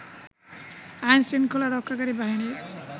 আইন শৃঙ্খলা রক্ষাকারী বাহিনীর